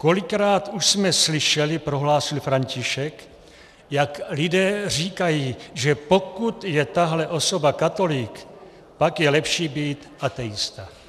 Kolikrát už jsme slyšeli, prohlásil František, jak lidé říkají, že pokud je tahle osoba katolík, pak je lepší být ateista.